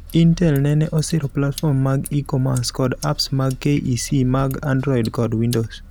Intel neneosiro platforms mag e-commerse kod apps mag KEC mag android kod windows.